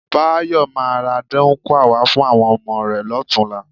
Báyọ̀ máa ra dáńkúà wá fún àwọn ọmọ rẹ lọ́tùnúnlá.